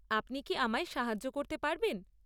আপনি কি আমায় সাহায্য করতে পারবেন?